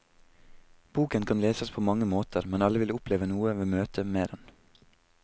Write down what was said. Boken kan leses på mange måter, men alle vil oppleve noe ved møtet med den.